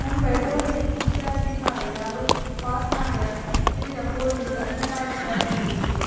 Mumbai police ಮುಖ್ಯಾಧಿಕಾರಿ ಅರುಪ್ ಪಟ್ನಾಯಕ್ ಹಿರಿಯ police ಅಧಿಕಾರಿಗಳೊಂದಿಗೆ